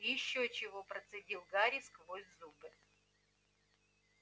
ещё чего процедил гарри сквозь зубы